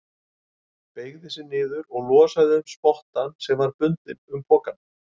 Beygði sig niður og losaði um spottann sem var bundinn um pokann.